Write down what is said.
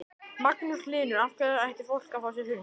Magnús Hlynur: Af hverju ætti fólk að fá sér hund?